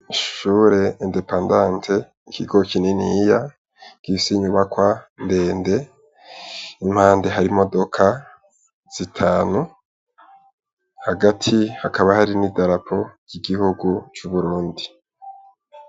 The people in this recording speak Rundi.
Ishure independante ikigo kininiya gifise inyubakwa ndende impande hari imodoka zitanu hagati hari n' idarapo ry' igihugu c'Uburundi.